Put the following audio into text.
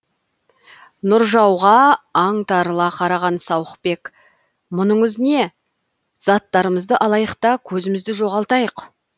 нұржауға аңтарыла қараған сауықбек мұныңыз не заттарымызды алайық та көзімізді жоғалтайық